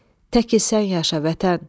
Təki sən yaşa, vətən!